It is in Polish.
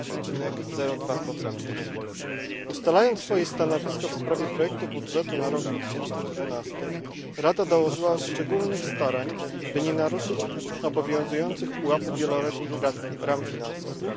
2,02. Ustalając swoje stanowisko w sprawie projektu budżetu na rok 2012, Rada dołożyła szczególnych starań, by nie naruszyć obowiązujących pułapów wieloletnich ram finansowych.